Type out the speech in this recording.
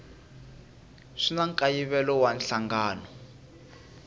swi na nkayivelo wa nhlangano